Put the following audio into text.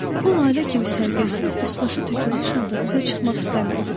O lalə kimi səliqəsiz, üs başı tökülmüş halda üzə çıxmaq istəmirdi.